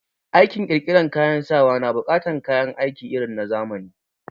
Aikin ƙirƙiran kayan sawa na buƙatar kayan aiki irin na zamani